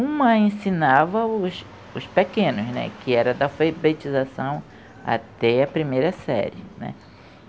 Uma ensinava os, os pequenos, né, que era da feibetização até a primeira série.